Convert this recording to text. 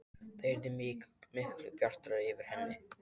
Það yrði miklu bjartara yfir henni.